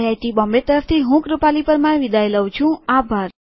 IIT Bombay તરફથી હું શિવાની ગડા વિદાઈ લઉં છુંઆભાર